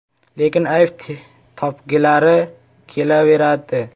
Lekin ayb topgilari kelaveradi.